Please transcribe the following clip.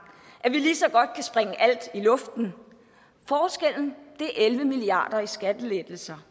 at vi lige så godt kan springe alt i luften forskellen er elleve milliard kroner i skattelettelser